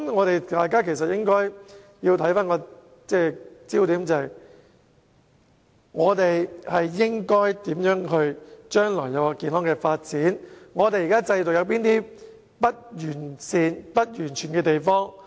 大家的焦點應該放在香港如何能夠健康地發展下去，以及找出現時制度上不完善或不完全的地方。